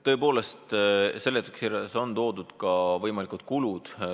Tõepoolest, seletuskirjas on toodud ka võimalikud kulud.